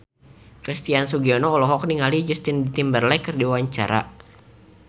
Christian Sugiono olohok ningali Justin Timberlake keur diwawancara